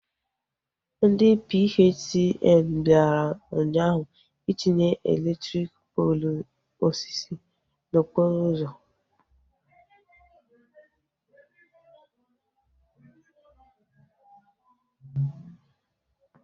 Ndị PHCN bịara ụnyaahụ itinye elektriki poolu osisi n'okporo ụzọ